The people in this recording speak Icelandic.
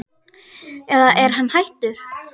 eða er hann hættur?